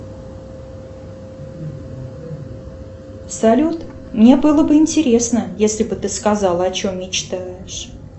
салют мне было бы интересно если бы ты сказала о чем мечтаешь